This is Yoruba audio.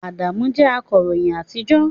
Adamu jẹ́ akọ̀ròyìn àtijọ́